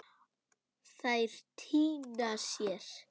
Þær týna sér.